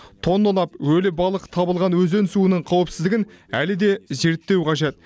тонналап өлі балық табылған өзен суының қауіпсіздігін әлі де зерттеу қажет